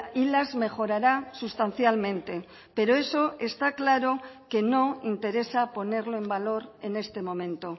y las mejorará sustancialmente pero eso está claro que no interesa ponerlo en valor en este momento